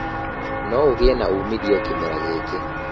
No ũgĩe na uumithio kĩmera gĩkĩ